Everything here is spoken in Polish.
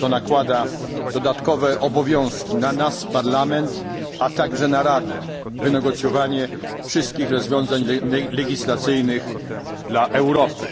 To nakłada dodatkowe obowiązki na nas, Parlament, a także na Radę wynegocjowanie wszystkich rozwiązań legislacyjnych dla Europy.